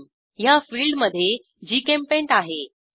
theme ह्या फिल्डमधे जीचेम्पेंट आहे